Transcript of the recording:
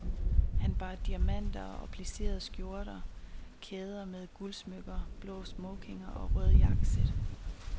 Han bar diamanter og plisserede skjorter, kæder med guldsmykker, blå smokinger og røde jakkesæt.